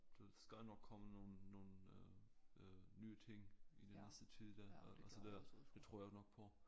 Der skal nok komme nogle nogle øh øh nye ting i den næste tid det altså det det tror jeg nok på